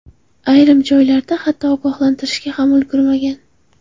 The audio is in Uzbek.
Ayrim joylarda hatto ogohlantirishga ham ulgurishmagan.